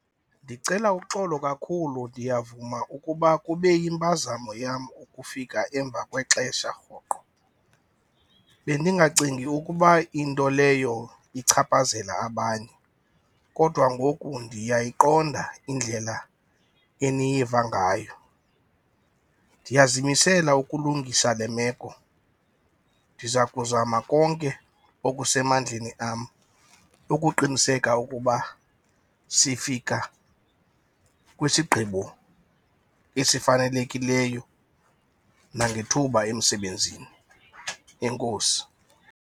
Ndicela uxolo kakhulu, ndiyavuma ukuba kube yimpazamo yam ukufika emva kwexesha rhoqo. Bendingacingi ukuba into leyo ichaphazela abanye kodwa ngoku ndiyayiqonda indlela eniyivangayo. Ndiyazimisela ukulungisa le meko, ndiza kuzama konke okusemandleni am ukuqiniseka ukuba sifika kwisigqibo esifanelekileyo nangethuba emsebenzini. Enkosi.